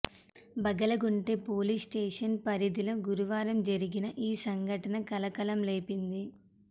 Bagalagunte police station పరిధిలో గురువారం జరిగిన ఈ ఘటన కలకలం రేపింది